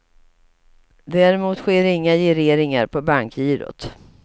Däremot sker inga gireringar på bankgirot.